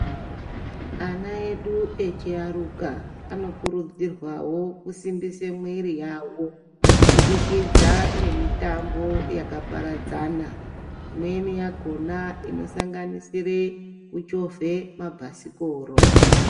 Ana edu echiaruka anokurudzirwawo kusimbise mwiiri yavo kubudikidza ngemitambo yakaparadzana, imweni yakona inosanganisire kuchovhe mabhasikoro.